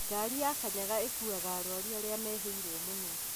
Ngari ya kanyaga ĩkuaga arwaru arĩa mehĩrĩirwo mũno